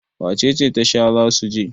wacece Tasha za su je?